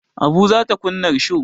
Abu za ta kunna risho.